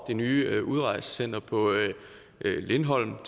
nye udrejsecenter på lindholm